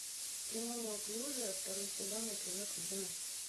кино неуклюжая второй сезон эпизод одиннадцать